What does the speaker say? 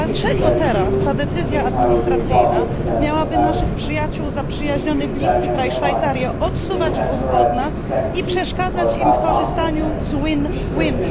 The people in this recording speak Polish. Dlaczego teraz ta decyzja administracyjna miałaby naszych przyjaciół, zaprzyjaźniony i bliski kraj Szwajcarię, odsuwać od nas i przeszkadzać w korzystaniu z win win?